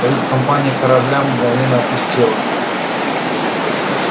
кают-компания корабля мгновенно опустела